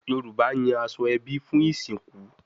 Yoruba yan aso ebi fun isinku